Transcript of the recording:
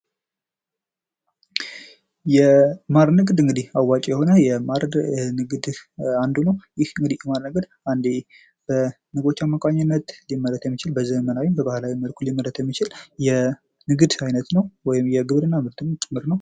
የማር ንግድ እንግዲህ አዋጭ የሆነ የማር ንግድ አንዱ ነው። ይህ የማር ንግድ አንደ በንቦች አማካኝነት በዘመናዊም በባህላዊም መልኩ ሊመረት የሚችል የንግድ አይነት ነው ወይም የግብርና ምርትም ጭምር ነው።